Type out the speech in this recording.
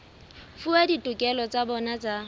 fuwa ditokelo tsa bona tsa